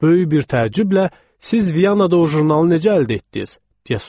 Böyük bir təəccüblə, "Siz Viyanada o jurnalı necə əldə etdiniz?"